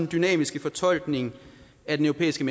dynamiske fortolkning af den europæiske